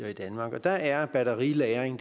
danmark og der er batterilagring